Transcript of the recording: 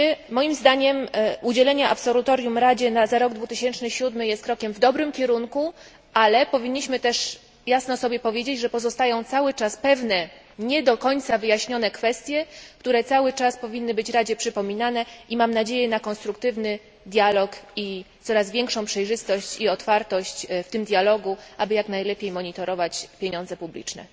Moim zdaniem, udzielenie absolutorium Radzie za rok 2007 jest krokiem w dobrym kierunku, ale powinniśmy sobie też jasno powiedzieć, że pozostają cały czas pewne nie do końca wyjaśnione kwestie, które cały czas powinny być Radzie przypominane i mam nadzieję na konstruktywny dialog i coraz większą przejrzystość i otwartość w tym dialogu, aby jak najlepiej monitorować pieniądze publiczne.